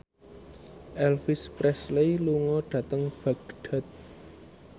Elvis Presley lunga dhateng Baghdad